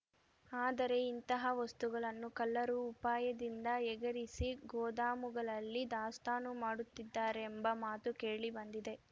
ಆದರೆ ಇಂತಹ ವಸ್ತುಗಳನ್ನು ಕಳ್ಳರು ಉಪಾಯದಿಂದ ಎಗರಿಸಿ ಗೋದಾಮುಗಳಲ್ಲಿ ದಾಸ್ತಾನು ಮಾಡುತ್ತಿದ್ದಾರೆಂಬ ಮಾತು ಕೇಳಿ ಬಂದಿದೆ